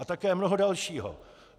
A také mnoho dalšího.